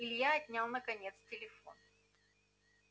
илья отнял наконец телефон